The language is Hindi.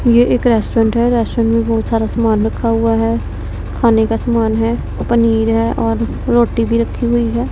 ये एक रेस्टोरेंट है रेस्टोरेंट में बहुत सारा सामान रखा हुआ है खाने का समान है पनीर है और रोटी भी रखी हुई है।